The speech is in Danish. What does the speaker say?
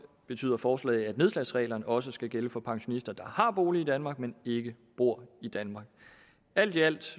betyder forslaget at nedslagsreglerne også skal gælde for pensionister der har bolig i danmark men ikke bor i danmark alt i alt